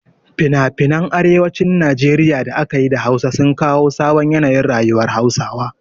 Finafinan arewacin Najeriya da aka yi da Hausa sun kawo sabon yanayin rayuwar Hausawa.